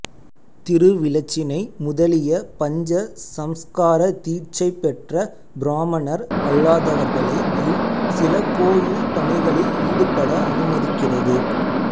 திருவிலச்சினை முதலிய பஞ்ச சம்ஸ்கார தீட்சை பெற்ற பிராமணர் அல்லாதவர்களையும் சில கோயில் பணிகளில் ஈடுபட அனுமதிக்கிறது